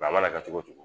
a mana kɛ cogo cogo